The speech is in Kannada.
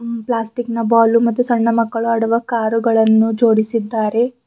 ಪ್ಲಾಸ್ಟಿಕ್ ನ ಬಾಲು ಮತ್ತು ಸಣ್ಣ ಮಕ್ಕಳು ಆಡುವ ಕಾರು ಗಳನ್ನು ಜೋಡಿಸಿದ್ದಾರೆ.